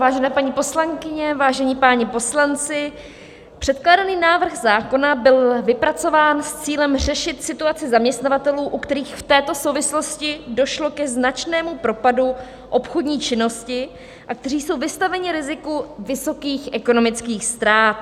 Vážené paní poslankyně, vážení páni poslanci, předkládaný návrh zákona byl vypracován s cílem řešit situaci zaměstnavatelů, u kterých v této souvislosti došlo ke značnému propadu obchodní činnosti a kteří jsou vystaveni riziku vysokých ekonomických ztrát.